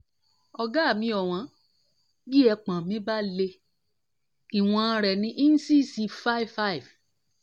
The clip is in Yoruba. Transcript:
ọ̀gá mi ọ̀wọ́n bí ẹpọ̀n mi bá le ìwọn rẹ ni íńsíìsì five five